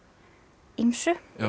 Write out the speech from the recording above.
ýmsu